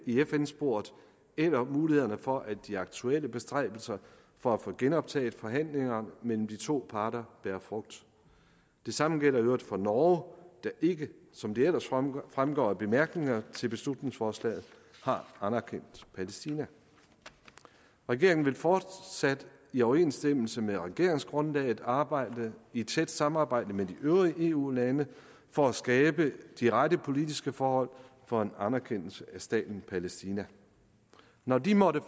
i fn sporet eller mulighederne for at de aktuelle bestræbelser for at få genoptaget forhandlingerne mellem de to parter bærer frugt det samme gælder i øvrigt for norge der ikke som det ellers fremgår fremgår af bemærkningerne til beslutningsforslaget har anerkendt palæstina regeringen vil fortsat i overensstemmelse med regeringsgrundlaget arbejde i tæt samarbejde med de øvrige eu lande for at skabe de rette politiske forhold for en anerkendelse af staten palæstina når de måtte